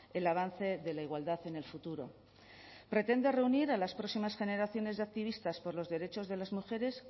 el avance de la igualdad en el futuro pretende reunir a las próximas generaciones de activistas por los derechos de las mujeres